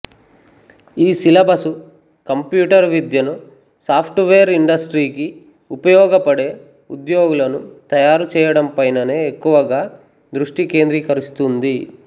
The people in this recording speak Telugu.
ఈ సిలబసు కంప్యూటరు విద్యను సాఫ్టువేర్ ఇండస్ట్రీకి ఉపయోగపడే ఉద్యోగులను తయారు చేయడంపైననే ఎక్కువగా దృష్టి కేంద్రీకరిస్తుంది